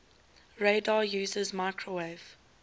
radar uses microwave